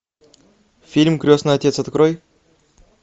фильм крестный отец открой